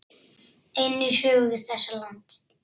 inn í sögu þessa lands.